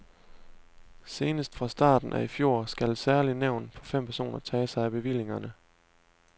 Senest fra starten af i fjor skal et særligt nævn på fem personer tage sig af bevillingerne.